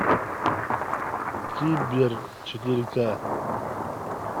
кибер четыре ка